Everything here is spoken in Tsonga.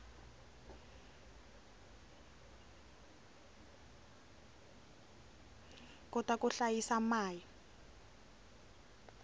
kota ku hlayisa mai